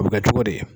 A bɛ kɛ cogo di